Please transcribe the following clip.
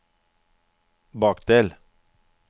bakdel